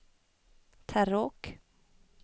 Terråk